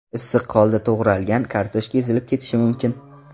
Issiq holda to‘g‘ralgan kartoshka ezilib ketishi mumkin.